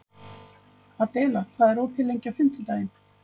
Adela, hvað er opið lengi á fimmtudaginn?